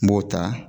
N b'o ta